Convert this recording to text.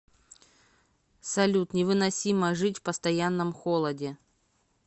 салют невыносимо жить в постоянном холоде